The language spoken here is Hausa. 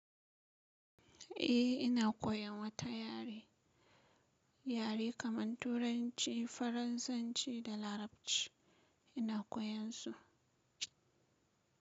Eh ina koyan wata yare, yare kaman Turanci, Faransanci da Larabci ina koyan su.